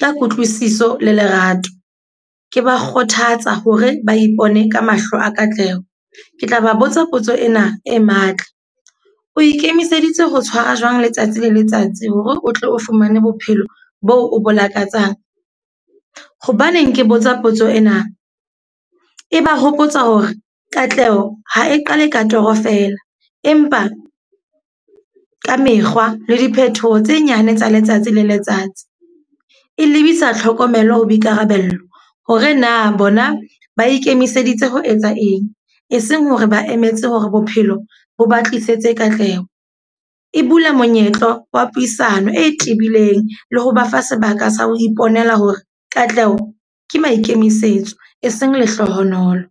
ya kutlwisiso le lerato. Ke ba kgothatsa hore ba ipone ka mahlo a katleho. Ke tla ba botsa potso ena e matla. O ikemiseditse ho tshwara jwang letsatsi le letsatsi hore o tle o fumane bophelo bo bo lakatsang? Hobaneng ke botsa potso ena. E ba hopotsa hore katleho ha e qale ka toro fela empa ka mekgwa le diphethoho tse nyane tsa letsatsi le letsatsi. E lebisa tlhokomelo ho boikarabello hore na bona ba ikemiseditse ho etsa eng. Eseng hore ba emetse hore bophelo bo ba tlisetse katleho. E bula monyetla wa puisano e tebileng, le ho ba fa sebaka sa ho iponela hore katleho ke maikemisetso e seng lehlohonolo.